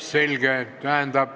Selge.